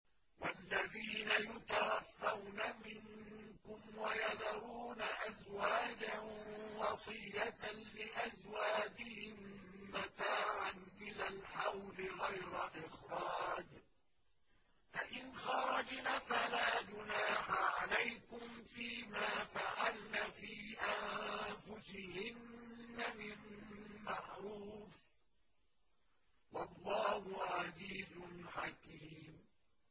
وَالَّذِينَ يُتَوَفَّوْنَ مِنكُمْ وَيَذَرُونَ أَزْوَاجًا وَصِيَّةً لِّأَزْوَاجِهِم مَّتَاعًا إِلَى الْحَوْلِ غَيْرَ إِخْرَاجٍ ۚ فَإِنْ خَرَجْنَ فَلَا جُنَاحَ عَلَيْكُمْ فِي مَا فَعَلْنَ فِي أَنفُسِهِنَّ مِن مَّعْرُوفٍ ۗ وَاللَّهُ عَزِيزٌ حَكِيمٌ